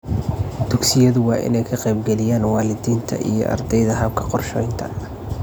Dugsiyadu waa inay ka qayb-galiyaan waalidiinta iyo ardayda habka qorshaynta.